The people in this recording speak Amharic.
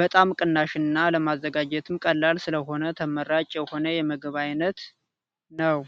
በጣም ቅናሽና ለማዘጋጀትም ቀላል ስለሆነ ተመራጭ የሆነ የምግብ አይነት ነው።